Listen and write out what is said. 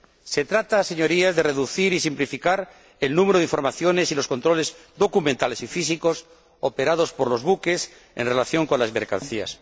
Se trata, Señorías, de reducir y simplificar el número de informaciones y los controles documentales y físicos operados por los buques en relación con las mercancías.